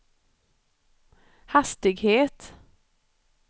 hastighet